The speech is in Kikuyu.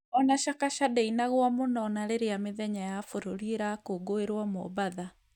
O na Chakacha ndĩinagwo mũno o na rĩrĩa mĩthenya ya bũrũri irakũngũĩrwo Mombatha.